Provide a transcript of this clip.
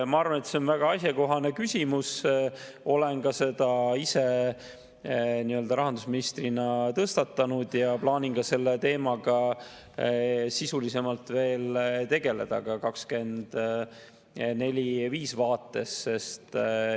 Ma arvan, et see on väga asjakohane küsimus, olen ka ise selle rahandusministrina tõstatanud ja plaanin selle teemaga sisulisemalt tegeleda ka 2024. ja 2025. aasta vaates.